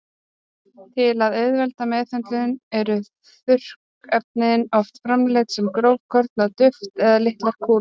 Til að auðvelda meðhöndlun eru þurrkefnin oft framleidd sem grófkorna duft eða litlar kúlur.